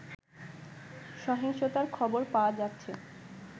সহিংসতার খবর পাওয়া যাচ্ছে